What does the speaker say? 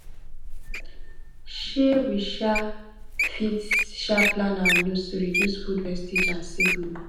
um we um fit um plan our meals to reduce food wastage and save money